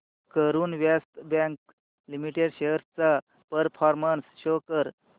Karur Vysya bank limited shares चा performance show कर